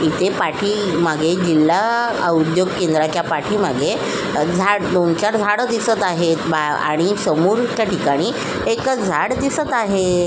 इथे पाठीमागे जिल्हा औद्योगिक केद्राच्या पाठीमागे झाड दोन चार झाड दिसत आहे बा आणि समोरच्या ठिकाणी एकच झाड दिसत आहे.